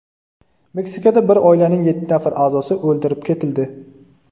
Meksikada bir oilaning yetti nafar a’zosi o‘ldirib ketildi.